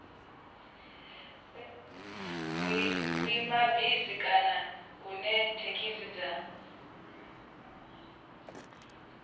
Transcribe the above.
vhuimabisi kana hune thekhisi dza